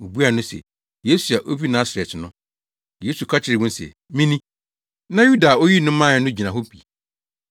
Wobuaa no se, “Yesu a ofi Nasaret no.” Yesu ka kyerɛɛ wɔn se, “Me ni!” Na Yuda a oyii no maa no gyina hɔ bi.